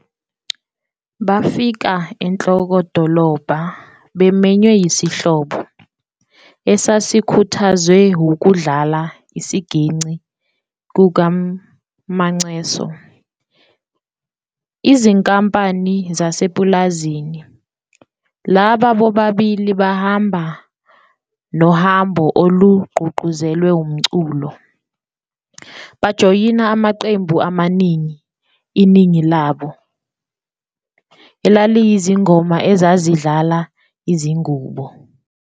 Bafika enhlokodolobha bemenywe yisihlobo, esasikhuthazwe wukudlala isiginci kukaMacheso ezinkampanini zasepulazini, laba bobabili bahamba nohambo olugqugquzelwe umculo, bajoyina amaqembu amaningi, iningi labo elaliyizingoma ezazidlala izingubo.